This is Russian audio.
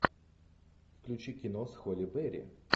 включи кино с холли берри